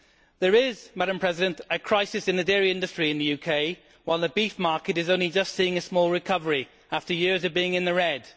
There is a crisis in the dairy industry in the UK, while the beef market is only just seeing a small recovery after years of being in the red.